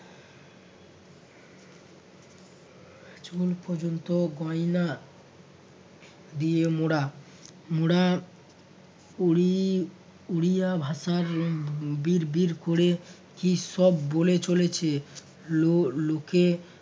চুল পর্যন্ত গয়না দিয়ে মোড়া মোড়া বা উড়ি উরিয়া ভাষায় বিড় বিড় ক'রে কীসব বলে চলেছে লো~ লোকে